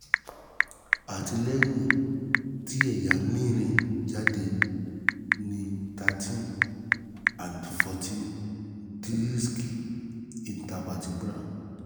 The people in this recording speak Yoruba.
ati lẹhin ti ẹya mi rin jade ni thirteen and fourteen disiki intervertebral